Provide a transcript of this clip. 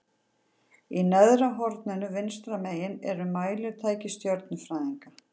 Í neðra horninu vinstra megin eru mælitæki stjörnufræðinganna.